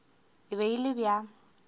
e be e le bja